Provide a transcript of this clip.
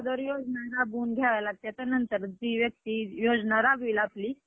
अगोदर योजना राबून घ्याव्या लागतात. नंतर जी व्यक्ती योजना राबविल आपली त्यालाच मतदान.